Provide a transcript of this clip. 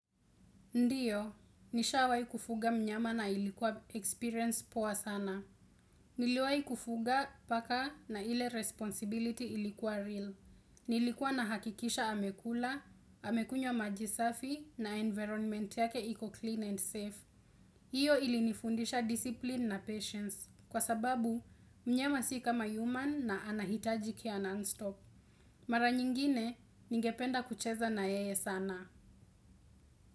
Ndio, nishawahi kufuga mnyama na ilikuwa experience poa sana. Niliwai kufuga paka na ile responsibility ilikuwa real. Nilikuwa nahakikisha amekula, amekunywa maji safi na environment yake iko clean and safe. Hiyo ilinifundisha discipline na patience. Kwa sababu, mnyama si kama human na anahitaji care non-stop. Mara nyingine, ningependa kucheza na yeye sana.